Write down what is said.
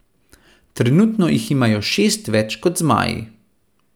Trenutno jih imajo šest več kot zmaji.